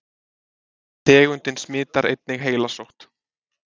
Tegundin smitar einnig heilasótt.